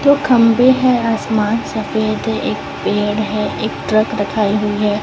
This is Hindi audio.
दो खंभे है आसमान सफेद है एक पेड़ है एक ट्रक रखाई हुई हैं।